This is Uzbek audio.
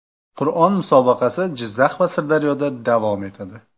Qur’on musobaqasi Jizzax va Sirdaryoda davom etadi.